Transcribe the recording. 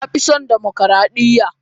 Na fi son dimokradiyya.